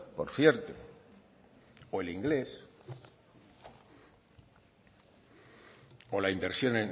por cierto o el inglés o la inversión